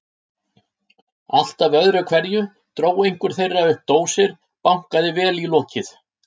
Alltaf öðru hverju dró einhver þeirra upp dósir, bankaði vel í lokið.